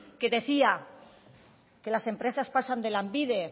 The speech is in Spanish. que decía que las empresas pasan de lanbide